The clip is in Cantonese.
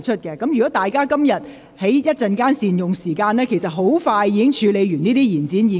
若議員今天稍後善用時間，其實很快便可完成處理這些議案。